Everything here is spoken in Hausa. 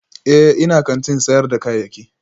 Ee, ina kantin sayar da kayayyaki